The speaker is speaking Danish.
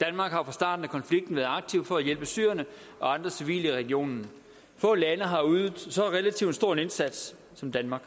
danmark har fra starten af konflikten været aktiv for at hjælpe syrerne og andre civile i regionen få lande har ydet så relativt stor en indsats som danmark